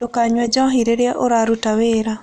Ndũkanyũe njohĩ rĩrĩa ũrarũta wĩra